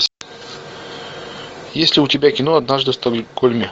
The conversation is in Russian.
есть ли у тебя кино однажды в стокгольме